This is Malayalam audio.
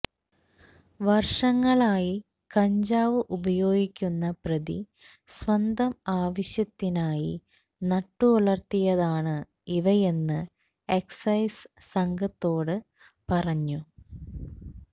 വർഷങ്ങളായി കഞ്ചാവ് ഉപയോഗിക്കുന്ന പ്രതി സ്വന്തം ആവശ്യത്തിനായി നട്ടുവളർത്തിയതാണ് ഇവയെന്ന് എക്സൈസ് സംഘത്തോട് പറഞ്ഞു